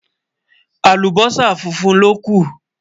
àlùbósà fúnfún ló kú